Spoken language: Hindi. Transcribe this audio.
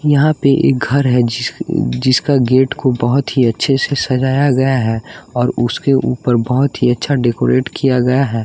यहाँ पे एक घर है जिस जिसका गेट को बहुत ही अच्छे से सजाया गया है और उसके ऊपर बहुत ही अच्छा डेकोरेट किया गया है।